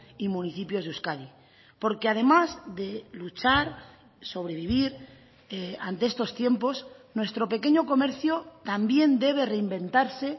y municipios de euskadi porque además de luchar sobrevivir ante estos tiempos nuestro pequeño comercio también debe reinventarse